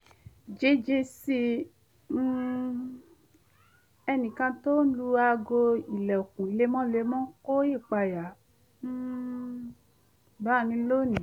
jíjí sí um ẹnìkan tí ó ń lu aago ìlẹ̀kùn lemọ́lemọ́ kó ìpayà um bá mi lónìí